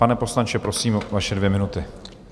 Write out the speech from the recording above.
Pane poslanče, prosím, vaše dvě minuty.